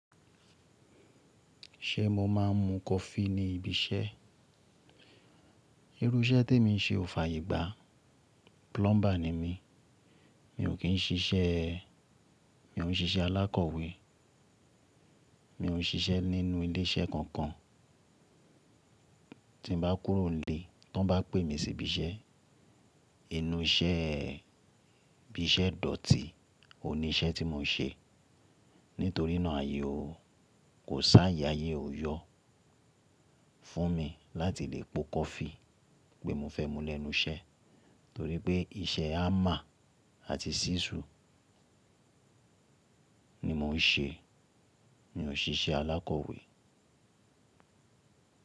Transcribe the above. Ṣé mo máa ń mu coffee ní ibi iṣẹ́? Irú iṣẹ́ tí emi ń ṣe ò fàyè gbá. Plumber ni mí. Mi ò kíń ṣiṣẹ́, mi ò ń ṣiṣẹ́ alákọ̀wé. Mi ò ń ṣiṣẹ́ nínú ilé iṣẹ́ kankan. Tí mo bá kúrò ni ílé, tí wọ́n bá pè mí sí ibi iṣẹ́, inú iṣẹ́, ibi iṣẹ́ dọ̀tí ò ní iṣẹ́ tí mo ń ṣe. Nítorínà àyè o, kò sáàyè àyè o yọ fún mi láti lè po coffee pé mo fẹ́ mu lẹ́nu iṣẹ́. Torí pé iṣẹ́ hammer àti ṣísù ni mo ń ṣe. Mi ò ń ṣiṣẹ́ alákọ̀wé.